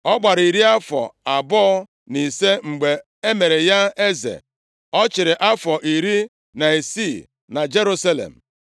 Ọ gbara iri afọ abụọ na ise mgbe e mere ya eze. Ọ chịrị afọ iri na isii na Jerusalem.